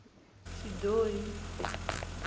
xidyohi